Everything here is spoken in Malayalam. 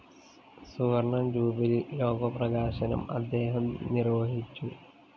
സുവര്‍ണ്ണ ജൂബിലി ലോഗോ പ്രകാശനം അദ്ദേഹം നിര്‍വ്വഹിച്ചു